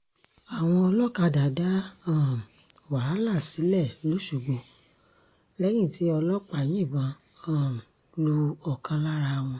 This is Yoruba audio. àwọn olókàdá dá um wàhálà sílẹ̀ lọ́sọ̀gbọ̀ lẹ́yìn tí ọlọ́pàá yìnbọn um lu ọ̀kan lára wọn